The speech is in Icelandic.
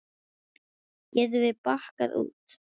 Getum við bakkað út?